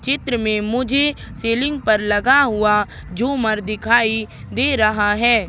चित्र में मुझे सीलिंग पर लगा हुआ झूमर दिखाई दे रहा है।